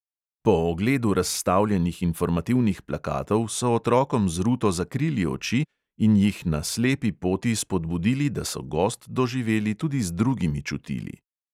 Po ogledu razstavljenih informativnih plakatov so otrokom z ruto zakrili oči in jih na slepi poti spodbudili, da so gozd doživeli tudi z drugimi čutili.